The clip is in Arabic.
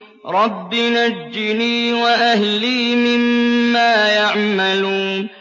رَبِّ نَجِّنِي وَأَهْلِي مِمَّا يَعْمَلُونَ